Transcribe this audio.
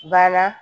Bana